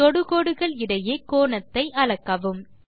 தொடுகோடுகள் இடையே கோணத்தை அளக்கவும்